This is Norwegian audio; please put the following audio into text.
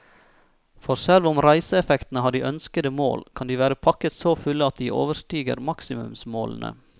For selv om reiseeffektene har de ønskede mål, kan de være pakket så fulle at de overstiger maksimumsmålene.